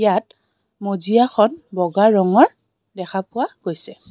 ইয়াত মজিয়া খন বগা ৰঙৰ দেখা পোৱা গৈছে.